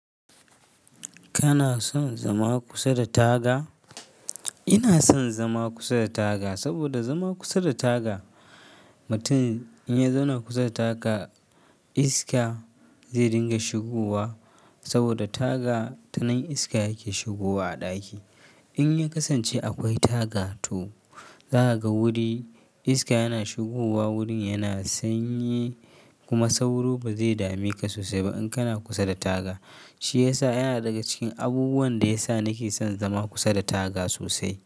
Kana son zama kusa da taga? Ina son zama kusa da taga, saboda zama kusa da taga, mutum in ya zauna kusa da taga iska zai dinga shigowa saboda taga tanan iska yake shigowa a ɗaki. In ya kasance akwai taga to, zakaga wuri iska yana shigowa wurin yana sanyi kuma sauro ba zai dame ka sosai ba in kana kusa da taga. Shi ya sa yana daga cikin abubuwan da ya sa nake son zama kusa da taga sosai.